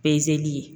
Pezeli ye